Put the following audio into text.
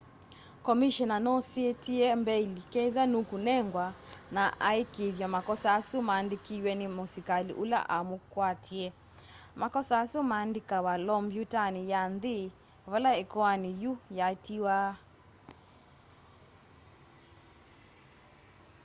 komishena nusetiie mbail kethwa nukunengwa na aikiithya makosa asu mandikiwe ni musikali ula umukwatie makosa asu mandikawa lombyutani ya nthi vala ikoani yiu yatiiawa